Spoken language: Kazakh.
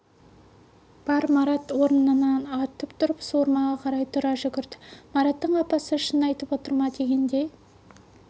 бар марат орнынан атып тұрып суырмаға қарай тұра жүгірді мараттың апасы шын айтып отыр ма дегендей